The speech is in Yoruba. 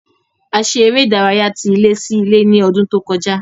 A ṣe eré ìdárayá tí ilé sí ilé ní ọdún tó kọjá